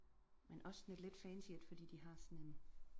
Men også sådan et lidt fancy et fordi de har sådan